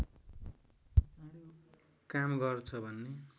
काम गर्छ भन्ने